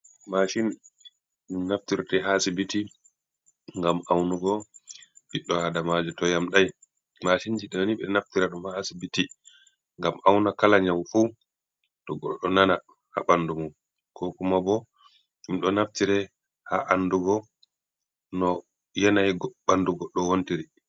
Mashini ɗum naftirte ha asibiti ngam aunugo ɓiɗɗo adamaji to yam ɗai, mashinji ɗo ni ɓe ɗo naftira ɗum ha ha sibiti ngam auna kala nyau fu to goɗɗo ɗo nana ha ɓandu mum, ko kuma bo ɗum ɗo naftira ha andugo no yenayi ɓanɗu goɗɗo wontiri.